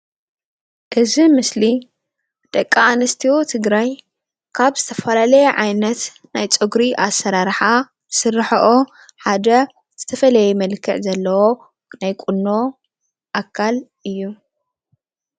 እዚ ምስሊ ደቂ ኣንስትዮ ትግራይ ካብ ዝተፈላልየ ዓይነት ናይ ፀጉሪ ኣሰራርሓ ዝስርሐኦ ሓደ ዝተፈለየ መልኽዕ ዘለዎ ናይ ቁኖ ኣካል እዩ።